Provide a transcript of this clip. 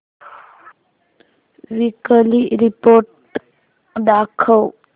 weekly report दाखव